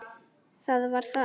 Það var það!